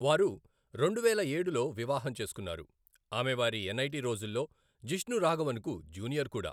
వారు రెండువేల ఏడులో వివాహం చేసుకున్నారు, ఆమె వారి ఎన్ఐటి రోజుల్లో జిష్ణు రాఘవన్కు జూనియర్ కూడా.